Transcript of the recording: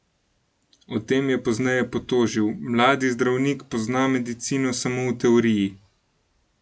O tem je pozneje potožil: 'Mladi zdravnik pozna medicino samo v teoriji.